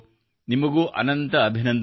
ನಿಮಗೂ ಅನಂತ ಅಭಿನಂದನೆಗಳು